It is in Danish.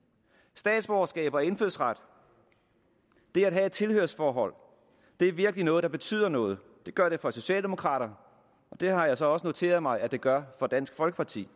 statsborgerskab og indfødsret det at have et tilhørsforhold er virkelig noget der betyder noget det gør det for socialdemokraterne og det har jeg så også noteret mig at det gør for dansk folkeparti